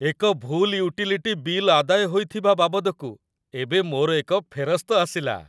ଏକ ଭୁଲ୍ utility bill ଆଦାୟ ହୋଇଥିବା ବାବଦକୁ ଏବେ ମୋର ଏକ ଫେରସ୍ତ ଆସିଲା।